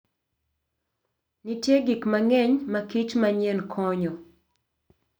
Nitie gik mang'eny makich manyien konyo.